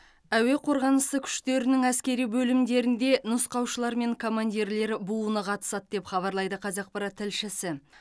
әуе қорғанысы күштерінің әскери бөлімдерінде нұсқаушылары мен командирлер буыны қатысады деп хабарлайды қазақпарат тілшісі